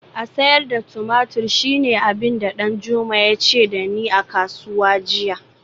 A sayar da tumatur shine abin da Danjuma ya ce da ni a kasuwa jiya